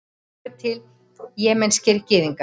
svo eru til jemenskir gyðingar